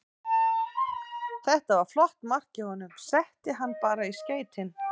Þetta var flott mark hjá honum, setti hann bara í skeytin.